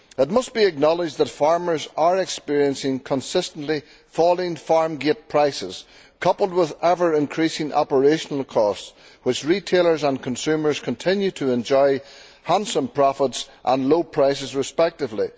It must be acknowledged that farmers are experiencing consistently falling farm gate prices coupled with ever increasing operational costs, whilst retailers and consumers continue to enjoy handsome profits and low prices respectively.